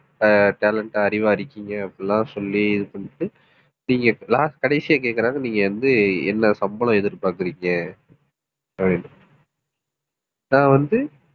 ஆஹ் talent ஆ அறிவா இருக்கீங்க, அப்படி எல்லாம் சொல்லி இது பண்ணிட்டு நீங்க last கடைசியா கேக்குறாங்க, நீங்க வந்து என்ன சம்பளம் எதிர்பாக்குறீங்க அப்படின்னு நான் வந்து,